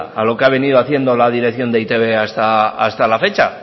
a lo que ha venido haciendo la dirección de e i te be hasta la fecha